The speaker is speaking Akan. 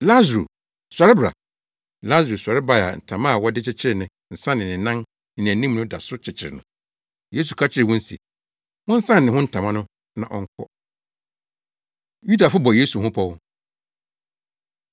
Lasaro sɔre bae a ntama a wɔde kyekyeree ne nsa ne ne nan ne nʼanim no da so kyekyere no. Yesu ka kyerɛɛ wɔn se, “Monsan ne ho ntama no na ɔnkɔ.” Yudafo Bɔ Yesu Ho Pɔw